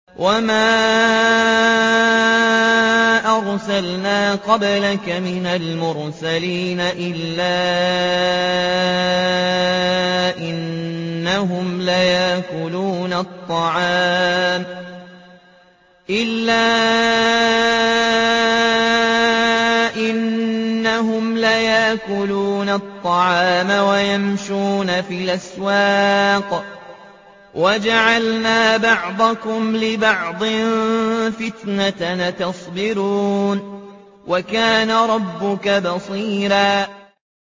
وَمَا أَرْسَلْنَا قَبْلَكَ مِنَ الْمُرْسَلِينَ إِلَّا إِنَّهُمْ لَيَأْكُلُونَ الطَّعَامَ وَيَمْشُونَ فِي الْأَسْوَاقِ ۗ وَجَعَلْنَا بَعْضَكُمْ لِبَعْضٍ فِتْنَةً أَتَصْبِرُونَ ۗ وَكَانَ رَبُّكَ بَصِيرًا